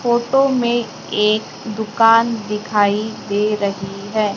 Photo में एक दुकान दिखाई दे रही है।